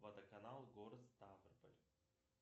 водоканал город ставрополь